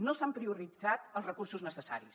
no s’han prioritzat els recursos necessaris